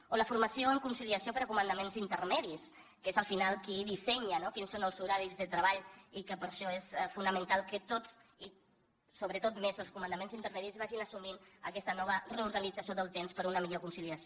o la formació en conciliació per a comandaments intermedis que és al final qui dissenya quins són els horaris de treball i que per això és fonamental que tots i sobretot més els comandaments intermedis vagin assumint aquesta nova reorganització del temps per a una millor conciliació